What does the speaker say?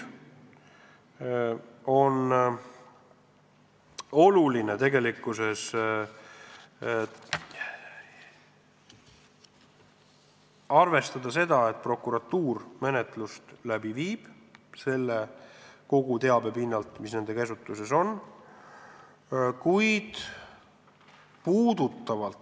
Tegelikkuses on tähtis arvestada seda, et prokuratuur viib menetlust läbi kogu selle teabe pinnalt, mis nende käsutuses on.